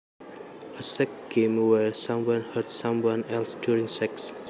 A sex game where someone hurts someone else during sex